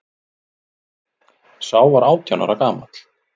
Sá var átján ára gamall